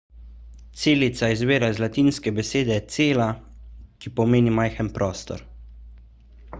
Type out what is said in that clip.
celica izvira iz latinske besede cella ki pomeni majhen prostor